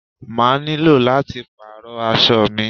I will have to change my clothes